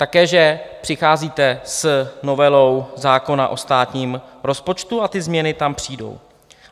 Také že přicházíte s novelou zákona o státním rozpočtu a ty změny tam přijdou.